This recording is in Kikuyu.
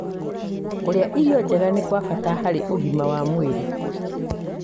Kũrĩa irio njega nĩ kwa bata harĩ ũgima wa mwĩrĩ.